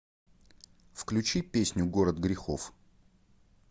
включи песню город грехов